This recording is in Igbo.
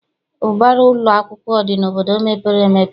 Ụbara ụlọakwụkwọ dị n'obodo mepere emepe.